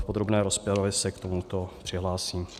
V podrobné rozpravě se k tomuto přihlásím.